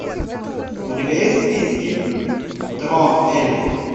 у тебя есть в списке трон эльфов